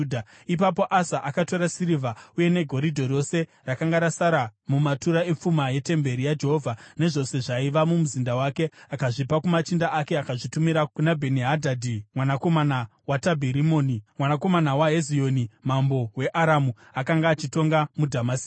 Ipapo Asa akatora sirivha yose negoridhe rose rakanga rasara mumatura epfuma yetemberi yaJehovha nezvose zvaiva mumuzinda wake. Akazvipa kumachinda ake akazvitumira kuna Bheni-Hadhadhi, mwanakomana waTabhirimoni, mwanakomana waHezioni, mambo weAramu, akanga achitonga muDhamasiko.